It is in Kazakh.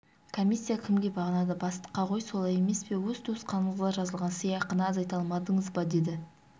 комиссия кімге бағынады бастыққа ғой солай емес пе өз туысқаныңызға жазылған сыйақыны азайта алмадыңыз ба деді